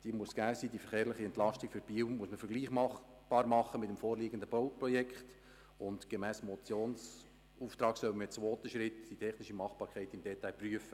Diese muss gegeben sein, die verkehrliche Entlastung für Biel muss man vergleichbar machen mit dem vorliegenden Bauprojekt, und gemäss Motionsauftrag sollen wir in zwei Schritten die technische Machbarkeit prüfen.